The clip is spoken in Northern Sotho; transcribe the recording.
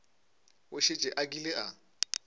o šetše a kile a